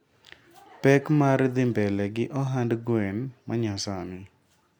Pek mar dhi mbele gi ohand gwen manyasani.